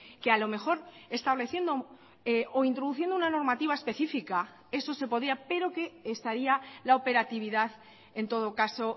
que a lo mejor estableciendo o introduciendo una normativa específica eso se podía pero que estaría la operatividad en todo caso